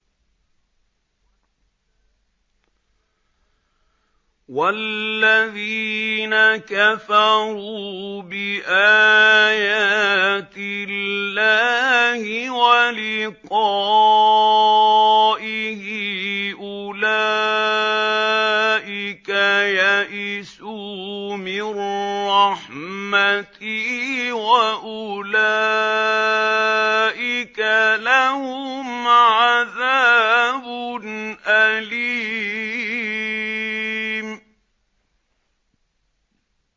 وَالَّذِينَ كَفَرُوا بِآيَاتِ اللَّهِ وَلِقَائِهِ أُولَٰئِكَ يَئِسُوا مِن رَّحْمَتِي وَأُولَٰئِكَ لَهُمْ عَذَابٌ أَلِيمٌ